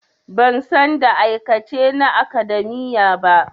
Ban san da aikace na academia ba.